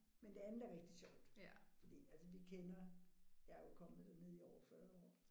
Men det andet er rigtig sjovt fordi altså vi kender. Jeg er jo kommer dernede i over 40 år